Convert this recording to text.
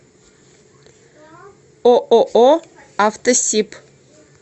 ооо автосиб